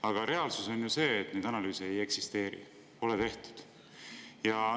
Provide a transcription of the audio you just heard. Aga reaalsus on ju see, et neid analüüse ei eksisteeri, pole tehtud.